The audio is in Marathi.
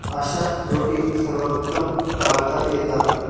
अशी त्रुटी सर्वोत्तम टाळता येतात.